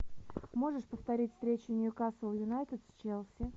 можешь повторить встречу ньюкасл юнайтед с челси